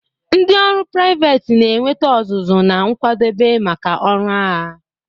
Ndị ọrụ priveti na-enweta ọzụzụ na nkwadebe maka ọrụ agha.